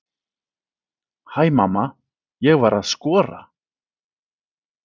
Hæ mamma, ég var að skora!